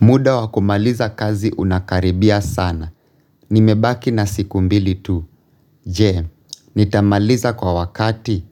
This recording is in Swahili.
Muda wakumaliza kazi unakaribia sana. Nimebaki na siku mbili tu. Je, nitamaliza kwa wakati.